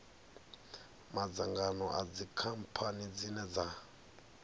madzangano na dzikhamphani dzine dza